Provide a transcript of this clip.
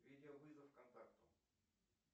видеовызов контакту